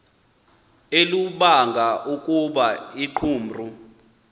olubanga ukuba iqumrhu